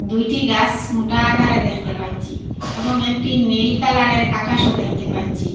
দুইটি গাস মোটা আকারে দেখতে পাচ্ছি এবং একটি নীল কালার -এর আকাশও দেখতে পাচ্ছি।